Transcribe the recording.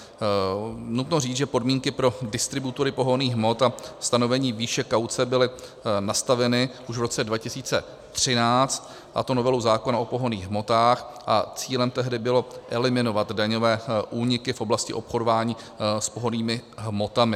Nutno říct, že podmínky pro distributory pohonných hmot a stanovení výše kauce byly nastaveny už v roce 2013, a to novelu zákona o pohonných hmotách, a cílem tehdy bylo eliminovat daňové úniky v oblasti obchodování s pohonnými hmotami.